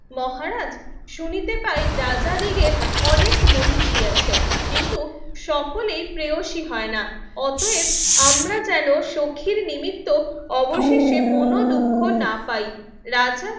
মহারাজ শুনিতে পাই রাজা দিগকে অনেক মহির্ষী আছে কিন্তু সকলেই প্রিয়সী হয়না অতয়েব আমরা যেন সখীর নিমিত্ত অবশেষে মনো দুঃখ না পাই রাজা